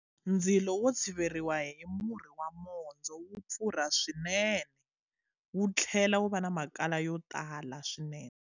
Ndzilo wo tshiveriwa hi murhi wa mondzo wa pfurha swinene, wu tlhela wu va na makala yo tala swinene.